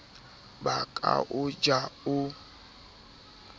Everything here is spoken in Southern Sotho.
ba ka o ja o